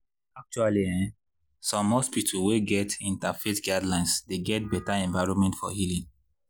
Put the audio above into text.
acttually ehnn some hospital wey get inter faith guildelines dey get better environment for healing